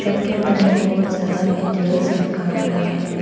Shop के अंदर में बहोत सारा मैटीरियल्स रखा हुआ है।